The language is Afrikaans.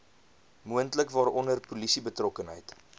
moontlik waaronder polisiebetrokkenheid